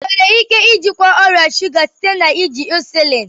Enwere ike ijikwa ọrịa shụga site na iji insuliin